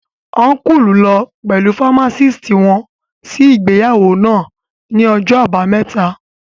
Ọ́nkùlù lọ pẹ̀lú fámásìtì wọn sí ìgbéyàwó náà ní ọjọ́ àbámẹ́ta